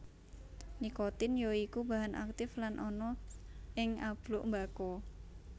Nikotin ya iku bahan aktif kang ana ing abluk mbako